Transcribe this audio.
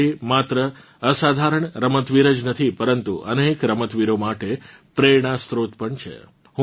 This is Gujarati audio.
મિતાલી માત્ર એક અસાધારણ રમતવીર જ નથી પરંતુ અનેક રમતવીરો માટે પ્રેરણાસ્ત્રોત પણ છે